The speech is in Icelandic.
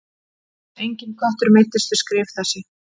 Enginn köttur meiddist við skrif þessi.